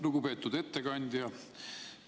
Lugupeetud ettekandja!